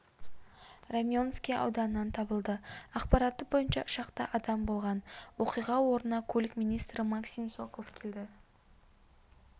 раменский ауданынан табылды ақпараты бойынша ұшақта адам болған оқиға орнына көлік министрі максим соколов келді